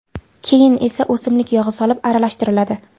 Keyin esa o‘simlik yog‘i solib aralashtiriladi.